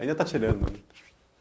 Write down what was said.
Ainda tá tirando.